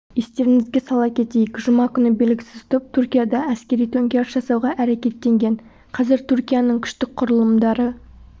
естеріңізге сала кетейік жұма күні белгісіз топ түркияда әскери төңкеріс жасауға әрекеттенген қазір түркияның күштік құрылымдары